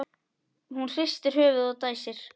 Hún hristir höfuðið og dæsir.